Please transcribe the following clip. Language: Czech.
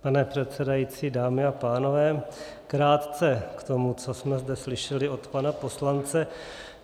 Pane předsedající, dámy a pánové, krátce k tomu, co jsme zde slyšeli od pana poslance.